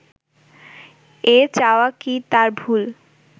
এ চাওয়া কি তার ভুল